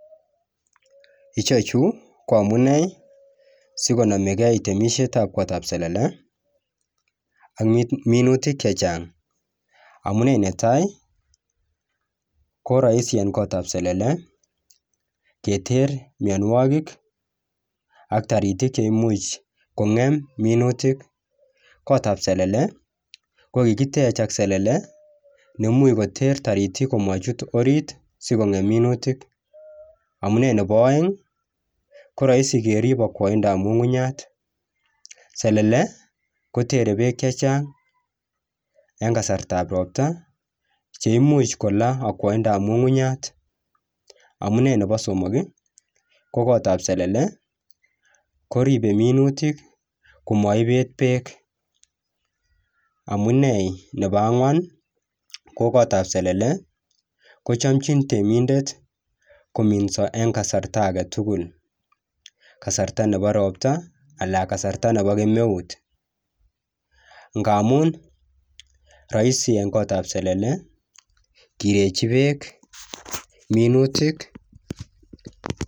Ichechu ko amunei sikonomekei temisietab gotab selele ak minutik chechang, amunee ne tai ko rahisi en gotab selele keter mionwogik ak taritik cheimuch kongem minutik, gotab selele ko kikitech ak selele neimuch koter taritik komachut orit siko ngem minutik, amunee nebo aeng ko rahisi kerip akwaindab ngungunyat ,selele kotere beek chechang en kasartab ropta cheimuch kolaa akwaindab ngungunyat, amunee nebo somok ko gotab selele koripe minutik ko maibet beek, amunee nebo angwan ko gotab selele kochamchin temindet kominso en kasarta ake tugul kasarta nebo ropta anan kasarta nebo kemeut ngamun rahisi en gotab selele kirechi beek minutik.